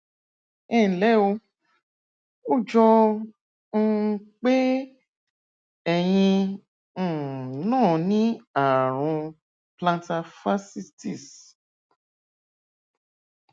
ẹnlẹ o ó jọ um pé ẹyin um náà ní ààrùn plantar fasciitis